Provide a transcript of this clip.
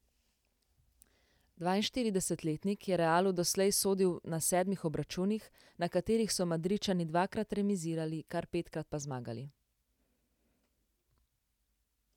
Dvainštiridesetletnik je Realu doslej sodil na sedmih obračunih, na katerih so Madridčani dvakrat remizirali, kar petkrat pa zmagali.